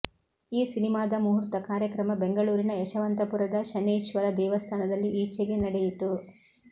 ಈ ಸಿನಿಮಾದ ಮುಹೂರ್ತ ಕಾರ್ಯಕ್ರಮ ಬೆಂಗಳೂರಿನ ಯಶವಂತಪುರದ ಶನೇಶ್ವರ ದೇವಸ್ಥಾನದಲ್ಲಿ ಈಚೆಗೆ ನಡೆಯಿತು